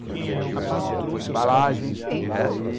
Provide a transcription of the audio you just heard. Por exemplo, embalagens plásticas,